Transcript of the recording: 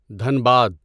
Dhanbad